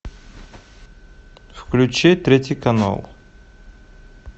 включи третий канал